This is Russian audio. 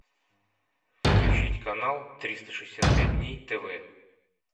включить канал триста шестьдесят пять дней тв